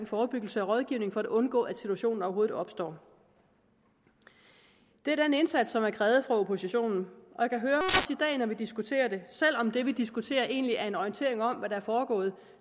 forebyggelse og rådgivning for at undgå at situationen overhovedet opstår det er den indsats som er krævet af oppositionen og vi diskuterer det selv om det vi diskuterer egentlig er en orientering om hvad der er foregået